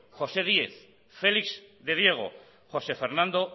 josé díez félix de diego josé fernando